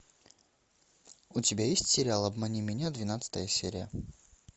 у тебя есть сериал обмани меня двенадцатая серия